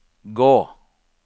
gå